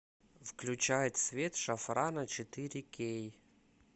включай цвет шафрана четыре кей